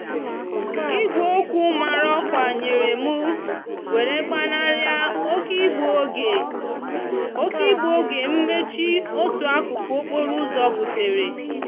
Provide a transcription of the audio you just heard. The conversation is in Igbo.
igweokwu mara òkwa nyere mú were gbanari oke igbuoge oke igbuoge mmechi otu akúkú okporo úzò butere.